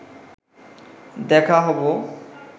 দেখা হব